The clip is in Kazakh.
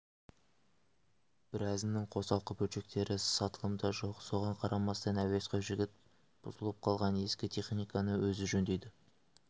біразының қосалқы бөлшектері сатылымда жоқ соған қарамастан әуесқой жігіт бұзылып қалған ескі техниканы өзі жөндейді